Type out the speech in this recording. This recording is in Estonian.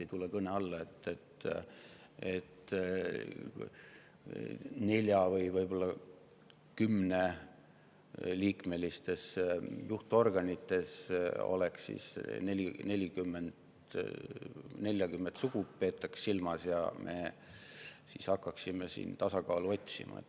Ei tule kõne alla, et 4- või 10-liikmelises juhtorganis peetaks silmas 40 sugu ja me hakkaksime seal tasakaalu otsima.